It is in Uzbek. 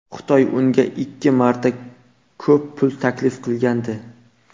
Xitoy unga ikki marta ko‘p pul taklif qilgandi.